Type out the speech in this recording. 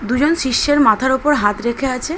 দুজন শিষ্যের মাথার ওপর হাত রেখে আছে।